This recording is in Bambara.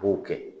B'o kɛ